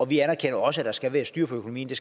vi anerkender også at der skal være styr på økonomien